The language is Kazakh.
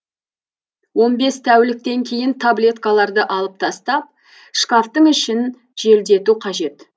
он бес тәуліктен кейін таблеткаларды алып тастап шкафтың ішін желдету қажет